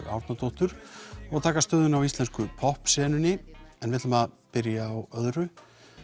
Árnadóttur og taka stöðuna á íslensku poppsenunni en við byrjum á öðru